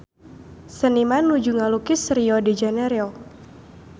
Seniman nuju ngalukis Rio de Janairo